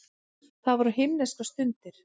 Það voru himneskar stundir.